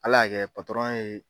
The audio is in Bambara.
Ala y'a kɛ patɔrɔn ye